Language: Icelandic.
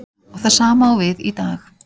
Og það sama á við í dag.